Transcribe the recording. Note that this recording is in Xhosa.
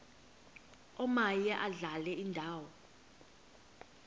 omaye adlale indawo